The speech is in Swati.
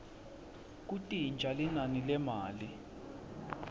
kuntintja linani lemali